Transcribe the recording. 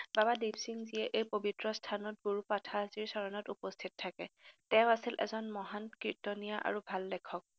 বাবা দিপসিংজীয়ে পৱিত্ৰস্থানত গুৰু পাঠানজীৰ চৰণত উপস্থিত থাকে। তেওঁ আছিল এজন মহান কীৰ্তনীয়া আৰু ভাল লেখক।